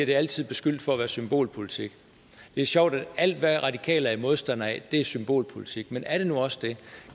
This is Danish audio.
det altid beskyldt for at være symbolpolitik det er sjovt at alt hvad radikale er modstandere af er symbolpolitik men er det nu også det